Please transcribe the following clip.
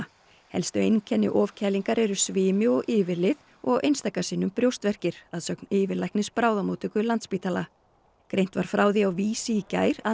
helstu einkenni ofkælingar eru svimi og yfirlið og einstaka sinnum brjóstverkir að sögn yfirlæknis bráðamóttöku Landspítala greint var frá því á Vísi í gær að